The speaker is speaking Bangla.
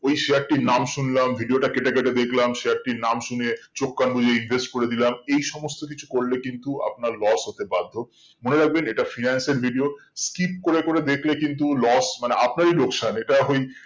ওই share টির নাম শুনলাম video টি কেটে কেটে দেখলাম share টির নাম শুনে চোখ কান বুজে invest করে দিলাম এই সমস্ত কিছু করলে কিন্তু আপনার loss হতে বাধ্য মনে রাখবেন এটা financier video skip করে করে দেখলে কিন্তু loss মানে আপনারই লোকসান এটা ওই